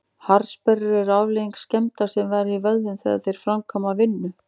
Harðsperrur eru afleiðing skemmda sem verða í vöðvum þegar þeir framkvæma vinnu.